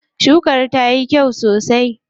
Shukan tayi kyau sosai.